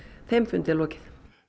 þeim fund er lokið